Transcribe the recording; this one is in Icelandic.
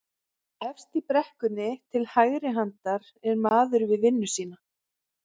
Efst í brekkunni til hægri handar er maður við vinnu sína